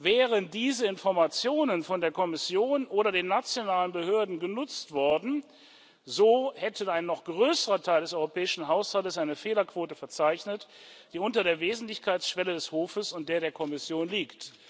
Wären diese Informationen von der Kommission oder den nationalen Behörden genutzt worden, so hätte ein noch größerer Teil des europäischen Haushalts eine Fehlerquote verzeichnet, die unter der Wesentlichkeitsschwelle des Hofes und der der Kommission liegt.